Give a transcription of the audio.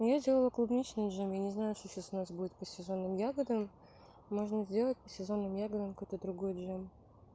но я сделала клубничный джем я не знаю что у нас сейчас будет по сезонам ягодам можно сделать по сезону ягода какой то другой джем